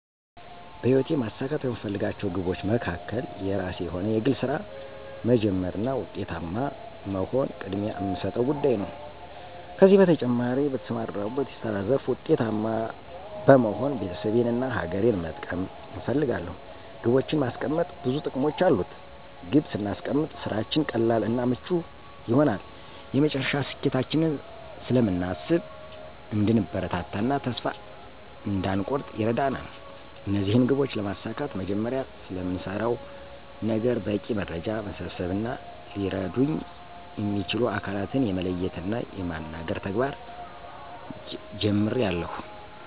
በሕይወቴ ማሳካት ከምፈልጋቸው ግቦች መካከል የራሴ የሆነ የግል ሥራ መጀመር እና ዉጤታማ መሆን ቅድሚያ እምሰጠው ጉዳይ ነው። ከዚህ በተጨማሪ በተሰማራሁበት የስራ ዘርፍ ዉጤታማ በመሆን ቤተሰቤን እና ሀገሬን መጥቀም እፈልጋለሁ። ግቦችን ማስቀመጥ ብዙ ጥቅሞች አሉት። ግብ ስናስቀምጥ ስራችን ቀላል እና ምቹ ይሆናል፤ የመጨረሻ ስኬታችንን ስለምናስብ እንድንበረታ እና ተስፋ እንዳንኮርጥ ይረዳናል። እነዚህን ግቦች ለማሳካት መጀመሪያ ስለምሰራው ነገር በቂ መረጃ መሰብሰብ እና ሊረዱኝ እሚችሉ አካላትን የመለየት እና የማናገር ተግባር ጀምሬአለሁ።